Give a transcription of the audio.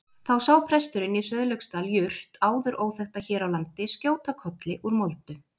Þá sá presturinn í Sauðlauksdal jurt áður óþekkta hér á landi skjóta kolli úr moldu.